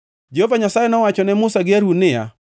Jehova Nyasaye nowacho ne Musa gi Harun niya,